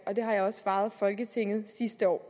og det har jeg også svaret folketinget sidste år